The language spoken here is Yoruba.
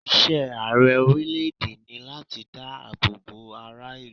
Iṣẹ́ Ààrẹ orílẹ̀ èdè ni láti dá àbọ̀ bo ara ìlú.